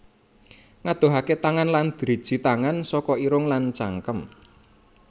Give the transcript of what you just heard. Ngadohaké tangan lan driji tangan saka irung lan cangkem